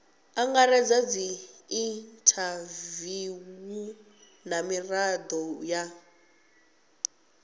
angaredza dziinthaviwu na mirado ya